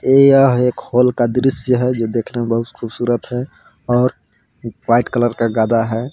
यह एक हॉल का दृश्य है जो देखने में बहुत खूबसूरत है और एक वाइट कलर का गदा है।